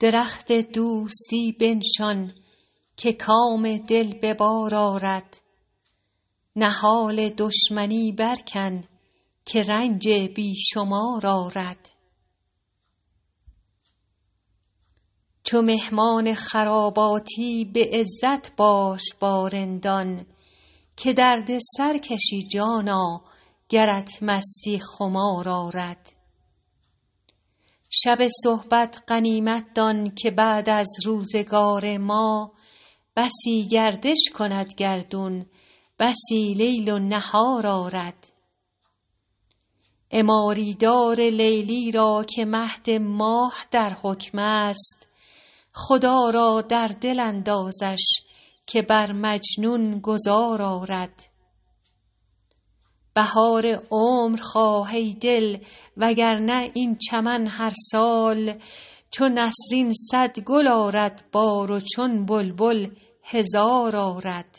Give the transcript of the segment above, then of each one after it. درخت دوستی بنشان که کام دل به بار آرد نهال دشمنی برکن که رنج بی شمار آرد چو مهمان خراباتی به عزت باش با رندان که درد سر کشی جانا گرت مستی خمار آرد شب صحبت غنیمت دان که بعد از روزگار ما بسی گردش کند گردون بسی لیل و نهار آرد عماری دار لیلی را که مهد ماه در حکم است خدا را در دل اندازش که بر مجنون گذار آرد بهار عمر خواه ای دل وگرنه این چمن هر سال چو نسرین صد گل آرد بار و چون بلبل هزار آرد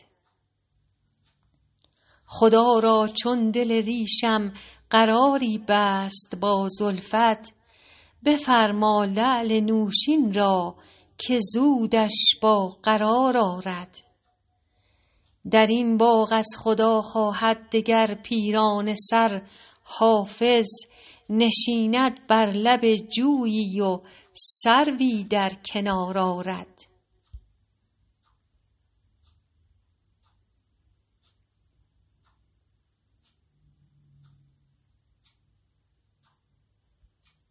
خدا را چون دل ریشم قراری بست با زلفت بفرما لعل نوشین را که زودش با قرار آرد در این باغ از خدا خواهد دگر پیرانه سر حافظ نشیند بر لب جویی و سروی در کنار آرد